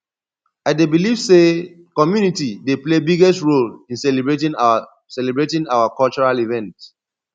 i dey believe say community dey play biggest role in celebrating our celebrating our cultural events